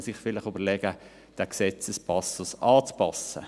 Man müsste sich überlegen, diesen Gesetzespassus anzupassen.